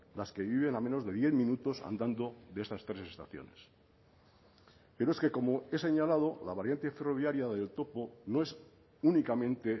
las que viven a menos de diez minutos andando de estas tres estaciones pero es que como he señalado la variante ferroviaria del topo no es únicamente